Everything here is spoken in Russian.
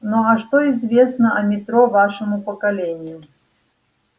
ну а что известно о метро вашему поколению